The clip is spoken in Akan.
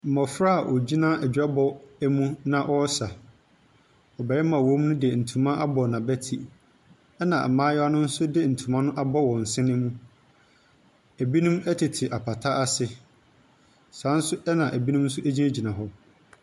Mmɔfra a wogyina adwabɔ mu na wɔsa. Barima a ɔwɔ mu de ntoma abɔ n'abeti, ɛna mmayewa no di ntoma abɔ wɔn din mu. Ebinom ɛtete apata ase. Sa nso na ebinom agyina gyina hɔ.